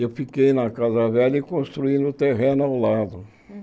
E eu fiquei na casa velha e construí no terreno ao lado.